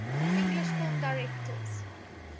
english film directors